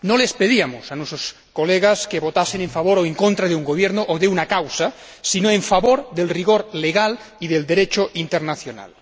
No les pedíamos a nuestros colegas que votasen a favor o en contra de un gobierno o de una causa, sino a favor del rigor legal y del Derecho internacional.